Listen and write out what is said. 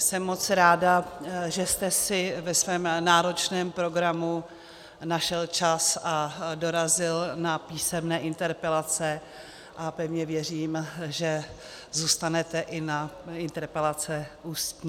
Jsem moc ráda, že jste si ve svém náročném programu našel čas a dorazil na písemné interpelace, a pevně věřím, že zůstanete i na interpelace ústní.